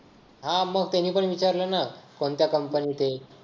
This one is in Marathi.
हा मग त्यांनी पण विचारलं ना कोणत्या company त आहे.